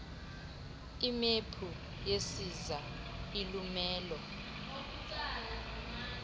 imephu yesiza ilumelo